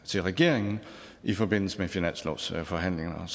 til regeringen i forbindelse med finanslovsforhandlingerne